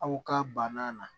Aw ka banna na